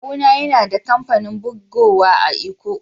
Kawu na yana da kampanin bugowa a'lkko.